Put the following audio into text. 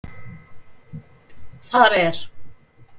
Þar er